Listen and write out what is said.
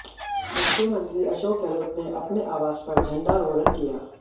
मुख्यमंत्री अशोक गहलोत ने अपने आवास पर झंडारोहरण किया